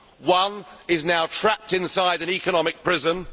One is now trapped inside an economic prison.